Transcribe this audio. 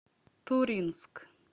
туринск